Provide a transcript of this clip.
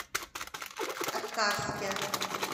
аткарске